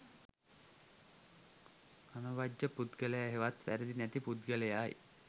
අනවජ්ජ පුද්ගලයා හෙවත් වැරැදි නැති පුද්ගලයායි.